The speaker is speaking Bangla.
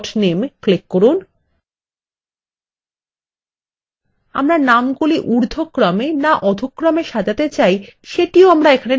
আমরা নামগুলি ঊর্ধক্রমে না অধহ্ক্রমে সাজাতে চাই সেটিও আমরা নির্বাচন করতে পারি